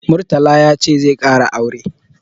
Murtala ya ce zai ƙara aure.